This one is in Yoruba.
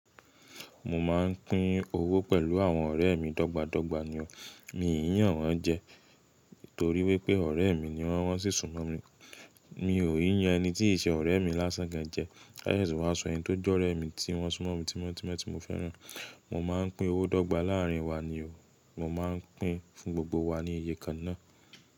Mo máà ń pín owó pẹ̀lú àwọn ọ̀rẹ́ mi dọ́gba dọ́gba ni o. Mi ò n yan wọn jẹ torí wípé ọ̀rẹ́ mi ni wọ́n, wọ́n sì súnmọ́ mi. Mi ò n yan ẹni tí ì ṣe ọ̀rẹ́ mi lásán gan jẹ. Ka sese wá sọ ẹni tó je ọ́rẹ́ mi tí wọ́n súnmọ́ mi tímọ́ tímọ́ tí mo fẹ́ràn. Mo máa ń pín owó dọ́gba láàrin wa ni o. Mo máa ń pín fún gbogbo wa ní iye kan náà.